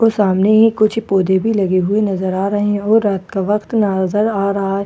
सामने ही कुछ पौधे भी लगे हुए नजर आ रहे हैं और रात का वक्त नजर आ रहा है।